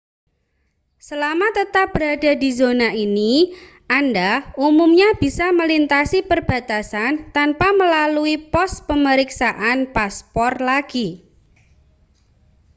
selama tetap berada di zona ini anda umumnya bisa melintasi perbatasan tanpa melalui pos pemeriksaan paspor lagi